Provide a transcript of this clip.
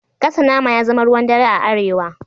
Gasa nama ya zama ruwan dare a Arewa